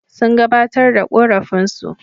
Sun gabatar da ƙorafinsu.